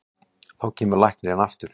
Þá kemur læknirinn aftur.